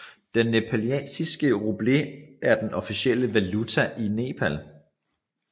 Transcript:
Den nepalesiske rupee er den officielle valuta i Nepal